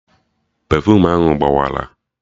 Pefuum ahụ gbawara